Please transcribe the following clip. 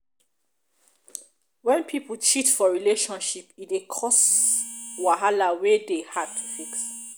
when pipo cheat for relationship e dey cause cause wahala wey de dey hard to fix